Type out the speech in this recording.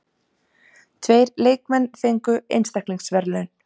Tveir leikmenn fengu einstaklingsverðlaun.